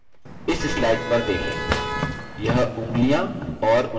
यह उँगलियाँ और उनके नाम दर्शाता है